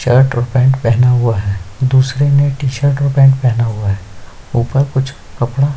shirt और pant पहना हुआ है दूसरे टी- शर्ट और पैंट पहना हुआ है ऊपर कुछ कपड़ा --